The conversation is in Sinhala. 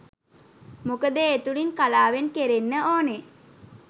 මොකද ඒ තුළින් කලාවෙන් කෙරෙන්න ඕනෙ